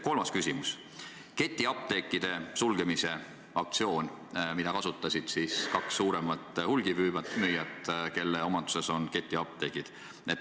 Kolmas küsimus on ketiapteekide sulgemise aktsiooni kohta, mida kasutasid kaks suuremat hulgimüüjat, kelle omanduses on ketiapteegid.